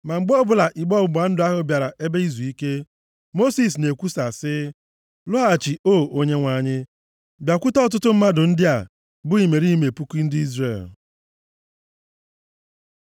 Ma mgbe ọbụla igbe ọgbụgba ndụ bịara ebe izuike, Mosis na-ekwukwa sị, “Lọghachi O Onyenwe anyị, bịakwute ọtụtụ mmadụ ndị a, bụ imerime puku ndị Izrel.”